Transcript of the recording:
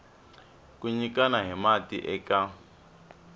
ku nyikana hi mati eka